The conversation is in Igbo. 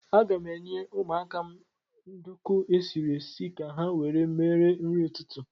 Aga m enye ụmụaka m nduku esiri esi ka ha were mere nri ụtụtụ.